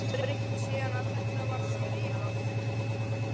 Er margt breytt síðan að þetta var skrifað?